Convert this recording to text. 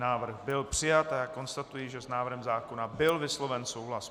Návrh byl přijat a já konstatuji, že s návrhem zákona byl vysloven souhlas.